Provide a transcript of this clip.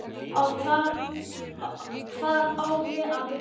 Hvar á ég að byrja?